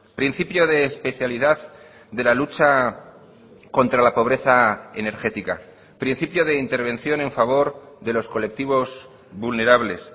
principio de especialidad de la lucha contra la pobreza energética principio de intervención en favor de los colectivos vulnerables